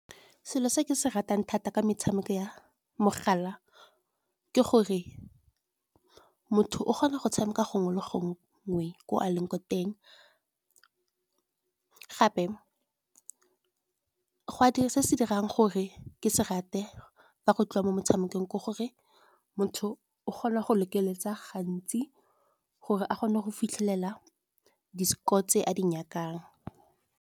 Selo se ke se ratang thata ke metshameko ya mogala, ke gore motho o kgona go tshameka gongwe le gongwe ko a leng ko teng. Gape se se dirang gore ke se rate, fa go tliwa mo motshamekong ke gore motho o kgona go lekeletsa gantsi, gore a kgone go fitlhelela di-score tse a di nyakang.